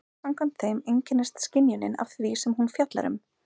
Samkvæmt þeim einkennist skynjunin af því sem hún fjallar um.